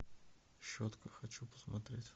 щетка хочу посмотреть